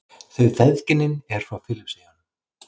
Þau feðginin eru frá Filippseyjum.